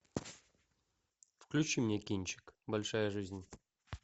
включи мне кинчик большая жизнь